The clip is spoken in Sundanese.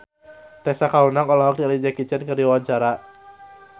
Tessa Kaunang olohok ningali Jackie Chan keur diwawancara